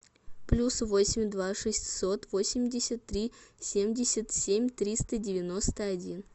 плюс восемь два шестьсот восемьдесят три семьдесят семь триста девяносто один